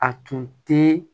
A tun tɛ